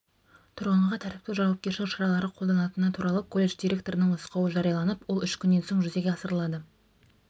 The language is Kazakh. тұрғынға тәртіптік жауапкершілік шаралары қолданатыны туралы колледж директорының нұсқауы жарияланып ол үш күннен соң жүзеге асырылады